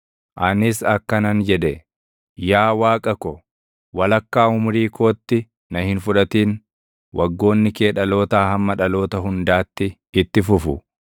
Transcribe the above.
Anis akkanan jedhe: “Yaa Waaqa ko, walakkaa umurii kootti na hin fudhatin; waggoonni kee dhalootaa hamma dhaloota hundaatti itti fufu.